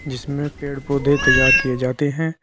जिसमें पेड़ पौधे तैयार किए जाते हैं।